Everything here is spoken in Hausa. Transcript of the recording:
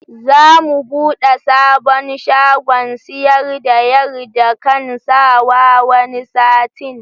Za mu buɗe sabon shagon siyar da yarda kan sawa wani satin